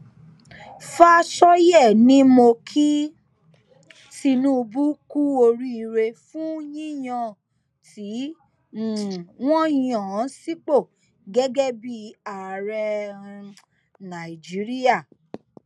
fàsọyé ni mo ki tinubu kú oríire fún yíyàn tí um wọn yàn án sípò gẹgẹ bíi ààrẹ um nàìjíríà